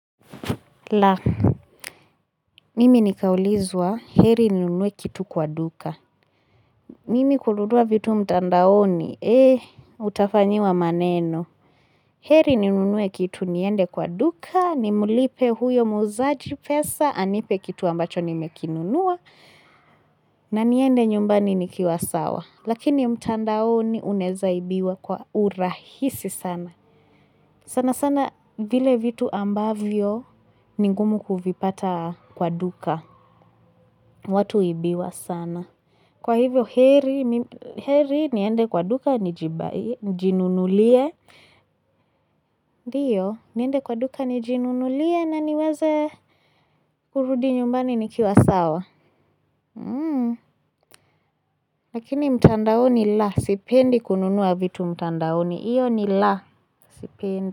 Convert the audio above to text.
La, mimi nikaulizwa heri ninunue kitu kwa duka. Mimi kununua vitu mtandaoni, hee, utafanyiwa maneno. Heri ninunue kitu niende kwa duka, nimlipe huyo muuzaji pesa, anipe kitu ambacho nimekinunua, na niende nyumbani nikiwa sawa. Lakini mtandaoni unezaibiwa kwa urahisi sana. Sana sana vile vitu ambavyo ni ngumu kuvipata kwa duka. Watu huibiwa sana Kwa hivyo heri heri niende kwa duka nijinunulie. Ndio niende kwa duka nijinunulie na niweze kurudi nyumbani nikiwa sawa Lakini mtandaoni la sipendi kununua vitu mtandaoni iyo ni la sipendi.